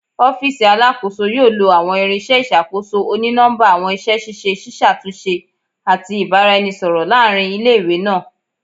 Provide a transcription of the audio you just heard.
Ọfiisi Alakoso yoo lo awọn irinṣẹ iṣakoso oni-nọmba, awọn iṣẹ ṣiṣe ṣiṣatunṣe ati ibaraẹnisọrọ laarin ile-iwe naa